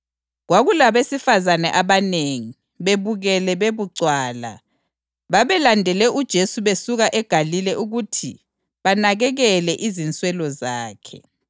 Kwakulabesifazane abanengi, bebukele bebucwala. Babelandele uJesu besuka eGalile ukuthi banakekele izinswelo zakhe.